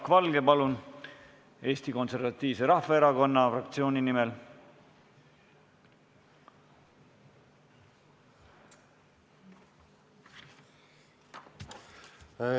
Jaak Valge, palun Eesti Konservatiivse Rahvaerakonna fraktsiooni nimel!